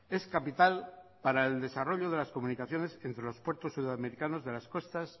es capital para el desarrollo de las comunicaciones entre los puertos sudamericanos de las costas